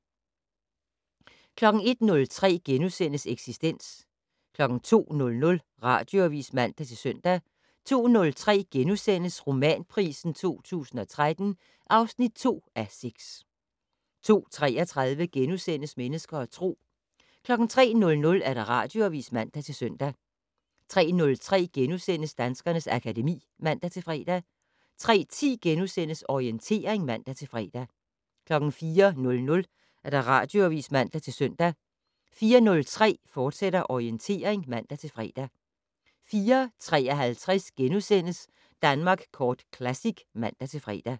01:03: Eksistens * 02:00: Radioavis (man-søn) 02:03: Romanpris 2013 (2:6)* 02:33: Mennesker og Tro * 03:00: Radioavis (man-søn) 03:03: Danskernes akademi *(man-fre) 03:10: Orientering *(man-fre) 04:00: Radioavis (man-søn) 04:03: Orientering, fortsat (man-fre) 04:53: Danmark Kort Classic *(man-fre)